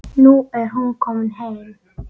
Nú er hún komin heim.